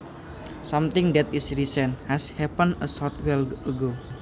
Something that is recent has happened a short while ago